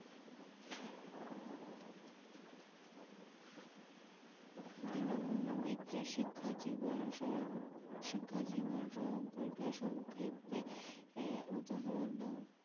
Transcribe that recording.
দীনবন্ধু মিত্রের শিক্ষা জীবণ সম্পর্কে সংক্ষেপে উদাহরন দাও।